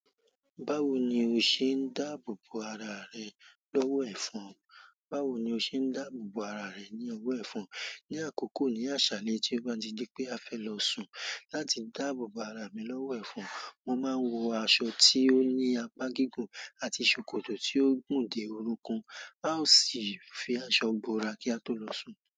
Báwo ni o ṣe ń dáàbò bo ara rẹ lọ́wọ́ ẹ̀fọn? Báwo ni o ṣe ń dáàbò bo ara rẹ ní ọwọ́ ẹ̀fọn? Ni àkókò ní àsàlẹ tí ó bá di pé a fẹ́ lọ sùn láti dáàbò bo ara mi lọ́wọ́ ẹ̀fọn, mo máa ń wọ aṣọ tí ó ní apá gígùn àti ṣòkòtò tí ó gùn dé orúnkun. A ó sì fi aṣọ bo ara kí a tó lọ sùn.